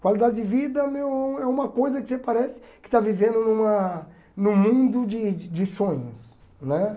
Qualidade de vida meu é uma coisa que você parece que está vivendo numa num mundo de de sonhos né.